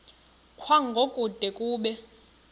kwango kude kube